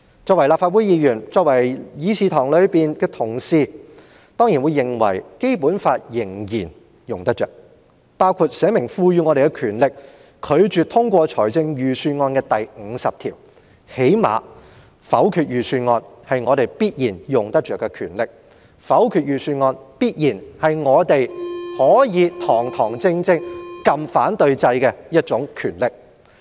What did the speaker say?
作為立法會議員，議事堂內的同事當然認為《基本法》仍然用得着，包括列明賦予議員權力拒絕通過預算案的第五十條，因為否決預算案必然是我們用得着的權力，否決預算案必然是我們可以堂堂正正按下"反對"按鈕的權力。